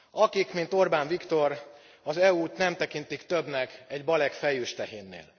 Akik, mint Orbán Viktor, az EU t nem tekintik többnek egy balek fejős tehénnél.